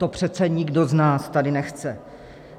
To přece nikdo z nás tady nechce.